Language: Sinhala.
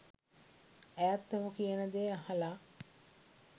ඇයත් ඔහු කියන දේ අහල